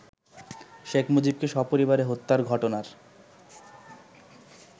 শেখ মুজিবকে সপরিবারে হত্যার ঘটনার